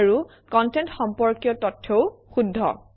আৰু কনটেণ্ট সম্পৰ্কীয় তথ্যও শুদ্ধ